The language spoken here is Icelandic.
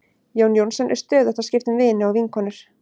Jón Jónsson er stöðugt að skipta um vini og vinkonur.